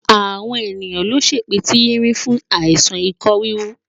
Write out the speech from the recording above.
Àwọn ènìyàn nlo sepitirin fún àìsàn ikọ híhu.